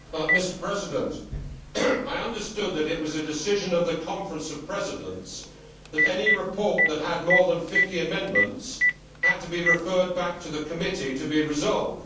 Mr President, I understood that it was a decision of the Conference of Presidents that any report that had more than 50 amendments had to be referred back to the committee to be resolved.